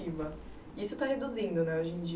isso está reduzindo, né, hoje em